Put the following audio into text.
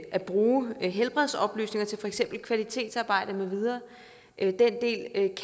at bruge helbredsoplysninger til for eksempel kvalitetsarbejde med videre